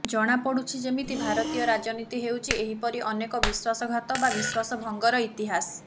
ଜଣାପଡ଼ୁଛି ଯେମିତି ଭାରତୀୟ ରାଜନୀତି ହେଉଛି ଏହିପରି ଅନେକ ବିଶ୍ୱାସଘାତ ବା ବିଶ୍ୱାସଭଙ୍ଗର ଇତିହାସ